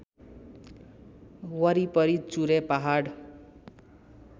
वरिपरि चुरे पहाड